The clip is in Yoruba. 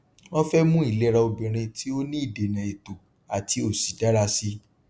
wọn fẹ mú ìlera obìnrin tí ó ní ìdènà ètò àti òṣì dara sí i